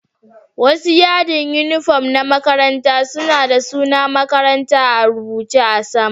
Wasu yadin uniform na makarantu suna da sunan makarantan a'rubuce a'sama.